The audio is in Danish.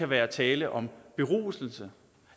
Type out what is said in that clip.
være tale om beruselse